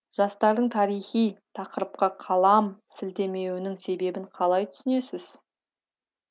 жастардың тарихи тақырыпқа қалам сілтемеуінің себебін қалай түсінесіз